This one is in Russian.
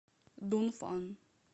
дунфан